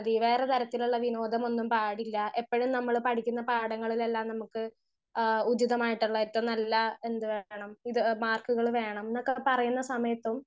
speaker 1 വേറെ തരത്തിലുളള വിനോദമൊന്നും പാടില്ല എപ്പഴും നമ്മൾ പഠിക്കുന്ന പാടങ്ങളില്ലേല്ലാം നമ്മുക്ക് ആ ഉചിതമായിട്ടുള്ള ഏറ്റവും നല്ല എന്ത് വേണം ഇത് മാർക്കുകൾ വേണം ന്നൊക്കെ പറയുന്ന സമയത്തും